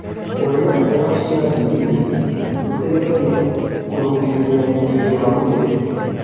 Kũrĩa mmboga cia ngirini gũteĩthagĩa kũrũngĩrĩrĩa ũgĩtĩrĩ wa mwĩrĩ